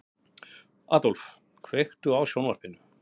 Aðólf, kveiktu á sjónvarpinu.